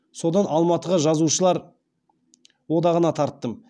содан алматыға жазушылар одағына тарттым